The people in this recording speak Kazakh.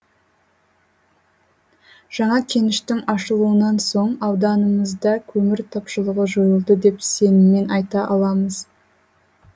жаңа кеніштің ашылуынан соң ауданымызда көмір тапшылығы жойылды деп сеніммен айта аламыз